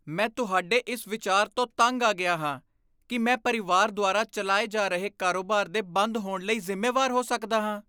ਮੈਂ ਤੁਹਾਡੇ ਇਸ ਵਿਚਾਰ ਤੋਂ ਤੰਗ ਆ ਗਿਆ ਹਾਂ ਕਿ ਮੈਂ ਪਰਿਵਾਰ ਦੁਆਰਾ ਚਲਾਏ ਜਾ ਰਹੇ ਕਾਰੋਬਾਰ ਦੇ ਬੰਦ ਹੋਣ ਲਈ ਜ਼ਿੰਮੇਵਾਰ ਹੋ ਸਕਦਾ ਹਾਂ।